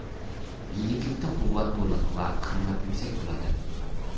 Yigitlikda quvvat to‘liq va himmat yuksak bo‘ladi.